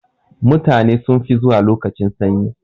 Mutane sun fi zuwa lokacin sanyi.